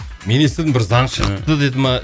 мен естідім бір заң шықты деді ма